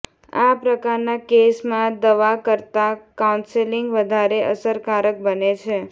આ પ્રકારના કેસમાં દવા કરતાં કાઉન્સેલિંગ વધારે અસરકારક બને છે